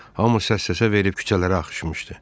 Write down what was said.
Hamı səs-səsə verib küçələrə axışmışdı.